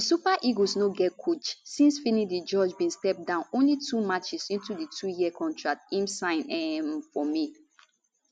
di super eagles no get coach since finidi george bin step down only two matches into di twoyear contract im sign um for may